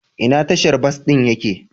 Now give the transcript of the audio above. Ina tashar bas ɗin ya ke?